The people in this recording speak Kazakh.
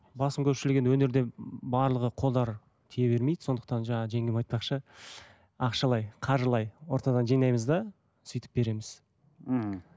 басым көпшілігі енді өнерде барлығы қолдары тие бермейді сондықтан жаңа жеңгем айтпақшы ақшалай қаржылай ортадан жинаймыз да сөйтіп береміз ммм